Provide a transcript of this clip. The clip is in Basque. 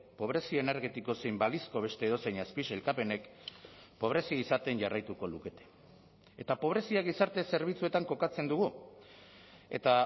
pobrezia energetiko zein balizko beste edozein azpisailkapenek pobrezia izaten jarraituko lukete eta pobrezia gizarte zerbitzuetan kokatzen dugu eta